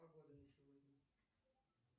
погода на сегодня